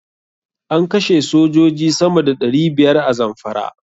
An kashe sojoji sama da ɗari biyar a Zamfara.